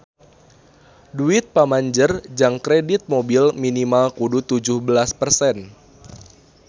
Duit pamanjer jang kredit mobil minimal kudu tujuh belas persen